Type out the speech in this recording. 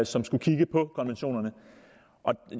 som skal kigge på konventionerne